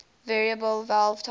variable valve timing